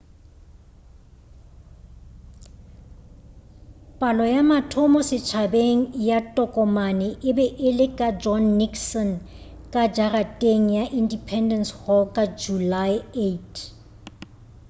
palo ya mathomo setšhabeng ya tokomane e be e le ka john nixon ka jarateng ya independece hall ka julae 8